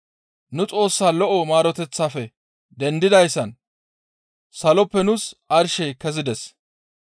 nu Xoossaa lo7o maaroteththaafe dendidayssan Saloppe nuus arshey kezides.